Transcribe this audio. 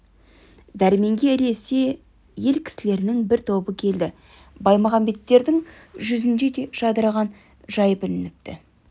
дәрменге ілесе ел кісілерінің бір тобы келді баймағамбеттердің жүзінде де жадыраған жай білініпті